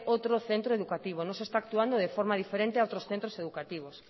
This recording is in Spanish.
otro centro educativo no se está actuando de forma diferente a otros centros educativos